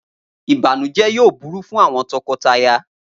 Ibanujẹ yoo buru fun awọn tọkọtaya.